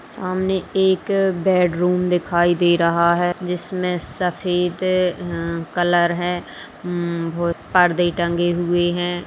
सामने एक बेडरूम दिखाई दे रहा है जिसमे सफेद उम कलर है उम भो परदे टंगे हुए है।